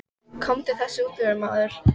Komdu þessu út úr þér, maður!